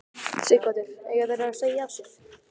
Sighvatur: Eiga þeir að segja af sér?